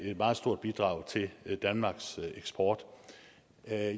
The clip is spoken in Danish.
meget stort bidrag til danmarks eksport